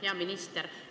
Hea minister!